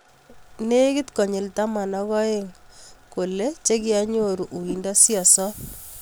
Legit konyil taman ak oeng kolee chekianyoruu uindoo siosoop